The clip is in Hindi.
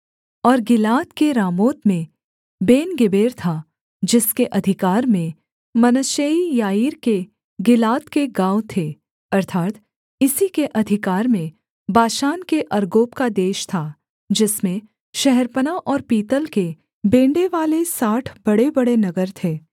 और गिलाद के रामोत में बेनगेबेर था जिसके अधिकार में मनश्शेई याईर के गिलाद के गाँव थे अर्थात् इसी के अधिकार में बाशान के अर्गोब का देश था जिसमें शहरपनाह और पीतल के बेंड़ेवाले साठ बड़ेबड़े नगर थे